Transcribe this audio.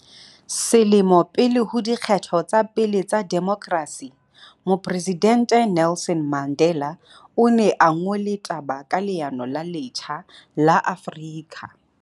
Selemo pele ho di kgetho tsa pele tsa demokrasi, Mopre sidente Nelson Mandela o ne a ngole taba ka leano le letjha la Afrika